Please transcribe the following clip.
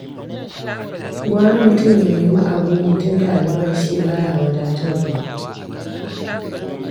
Gwara mutum ya nemi abin yi, tunda albashi baya wadatarwa.